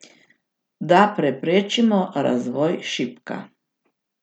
Da preprečimo razvoj šipka.